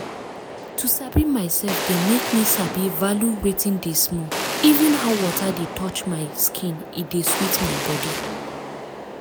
to sabi myself dey make me sabi value wetin dey small even how water dey touch my skin e dey sweet my body.